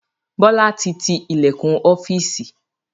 Bọlá tí tí ilẹkun ọ́fíìsì